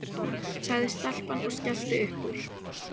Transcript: sagði stelpan og skellti upp úr.